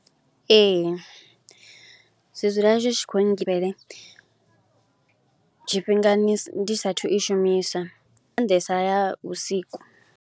Ee zwi dzula zwi tshi khou tshifhingani ndi saathu u i shumiswa, nga maanḓesa ya vhusiku.